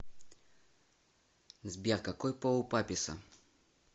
сбер какой пол у папесса